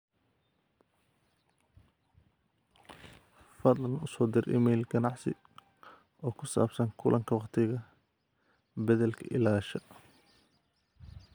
fadlan u soo dir emayl ganacsi oo ku saabsan kulanka wakhtiga beddelka ilaa asha